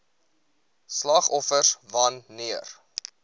slagoffers wan neer